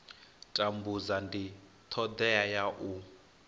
tambudza ndi thodea ya u